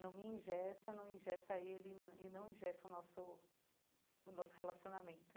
Não me engessa, não engessa ele e não e não engessa o nosso nosso relacionamento.